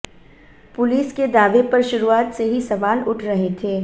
police के दावे पर शुरुआत से ही सवाल उठ रहे थे